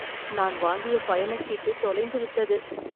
நான் வாங்கிய பயணச்சீட்டு தொலைந்துவிட்டது